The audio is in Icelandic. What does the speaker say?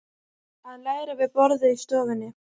Að læra við borðið í stofunni.